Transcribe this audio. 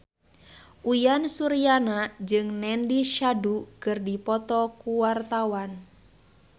Uyan Suryana jeung Nandish Sandhu keur dipoto ku wartawan